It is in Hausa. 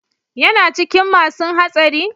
Yana cikin masun hatsari?